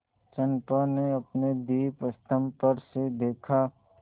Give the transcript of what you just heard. चंपा ने अपने दीपस्तंभ पर से देखा